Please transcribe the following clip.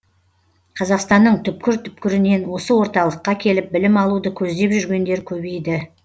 қазақстанның түпкір түпкірінен осы орталыққа келіп білім алуды көздеп жүргендер көбейді